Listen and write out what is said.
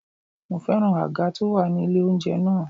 Mo féràn àga tó wà ní ilé oúnjẹ náà.